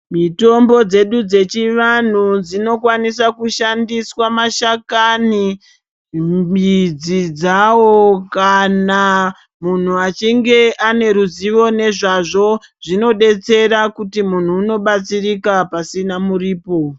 Mitombo dzedu dzechivanhu dzinokwanisa kushandiswa mashakani midzi dzawo kana munhu achinge ane ruzivo nezvazvo zvinodetsera kuti munhu unobatsirika pasina muripo.